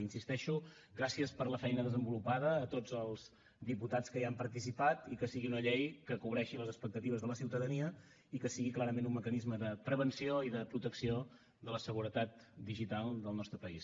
hi insisteixo gràcies per la feina desenvolupada a tots els diputats que hi han participat i que sigui una llei que cobreixi les expectatives de la ciutadania i que sigui clarament un mecanisme de prevenció i de protecció de la seguretat digital del nostre país